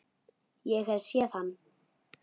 Hef ég séð hann?